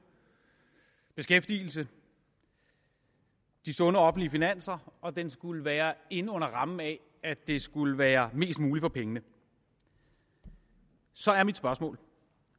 beskæftigelsen de sunde offentlige finanser og den skulle være inde under rammen af at det skulle være mest muligt for pengene så er mit spørgsmål